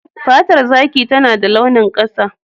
Fatar zaki tana da launin ƙasa.